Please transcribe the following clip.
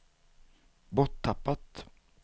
borttappat